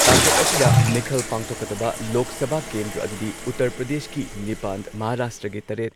ꯇꯥꯡꯀꯛ ꯑꯁꯤꯗ ꯃꯤꯈꯜ ꯄꯥꯡꯊꯣꯛꯀꯗꯕ ꯂꯣꯛ ꯁꯚꯥ ꯀꯦꯟꯗ꯭ꯔ ꯑꯗꯨꯗꯤ ꯎꯇꯔ ꯄ꯭ꯔꯗꯦꯁꯀꯤ ꯅꯤꯄꯥꯟ, ꯃꯍꯥꯔꯥꯁꯇ꯭ꯔꯥꯒꯤ ꯇꯔꯦꯠ,